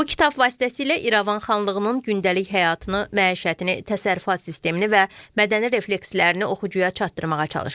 Bu kitab vasitəsilə İrəvan xanlığının gündəlik həyatını, məişətini, təsərrüfat sistemini və mədəni reflekslərini oxucuya çatdırmağa çalışmışıq.